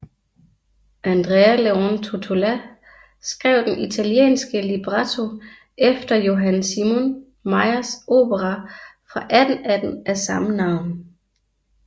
Andrea Leone Tottola skrev den italienske libretto efter Johann Simon Mayrs opera fra 1818 af samme navn